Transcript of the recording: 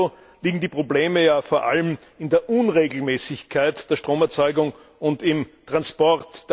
Bis dato liegen die Probleme ja vor allem in der Unregelmäßigkeit der Stromerzeugung und im Transport.